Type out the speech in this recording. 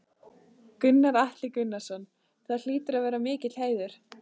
Gunnar Atli Gunnarsson: Það hlýtur að vera mikill heiður?